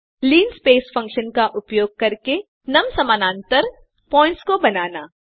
linspace function का उपयोग करके नुम समानांतर पॉइंट्स को बनाना